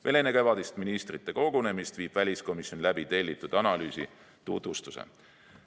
Veel enne kevadist ministrite kogunemist viib väliskomisjon läbi tellitud analüüsi tutvustuse.